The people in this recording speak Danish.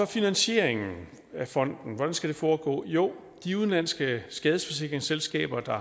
finansieringen af fonden hvordan skal den foregå jo de udenlandske skadesforsikringsselskaber der